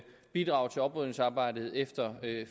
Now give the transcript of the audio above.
bidrage til oprydningsarbejdet efter